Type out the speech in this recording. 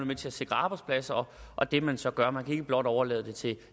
med til at sikre arbejdspladser og det man så gør man kan ikke blot overlade det til